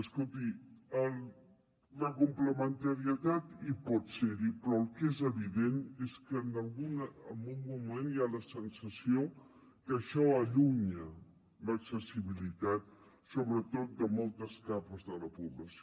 escolti la complementarietat hi pot ser però el que és evident és que en algun moment hi ha la sensació que això allunya l’accessibilitat sobretot de moltes capes de la població